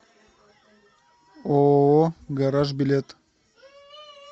ооо гараж билет